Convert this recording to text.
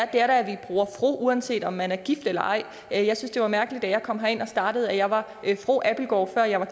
det er da at vi bruger fru uanset om man er gift eller ej jeg jeg synes det var mærkeligt da jeg kom herind og startede at jeg var fru abildgaard før jeg var